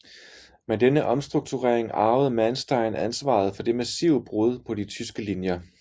Med denne omstrukturering arvede Manstein ansvaret for det massive brud på de tyske linjer